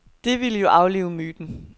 Det ville jo aflive myten.